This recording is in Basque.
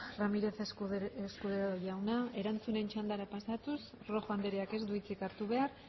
ramírez escudero jauna erantzunen txandara pasatuz rojo andreak ez du hitzik hartu behar